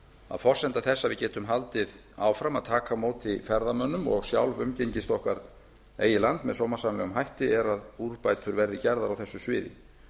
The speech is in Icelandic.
að forsenda þess að við getum haldið áfram að taka á móti ferðamönnum og sjálf umgengist okkar eigið land með sómasamlegum hætti er að úrbætur verði gerðar á þessu sviði